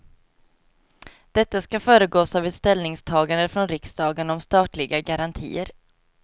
Detta ska föregås av ett ställningstagande från riksdagen om statliga garantier.